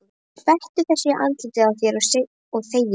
Skvettu þessu í andlitið á þér og þegiðu.